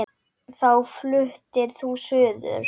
Þá fluttir þú suður.